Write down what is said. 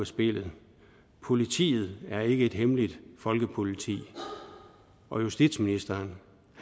spillet politiet er ikke et hemmeligt folkepoliti og justitsministeren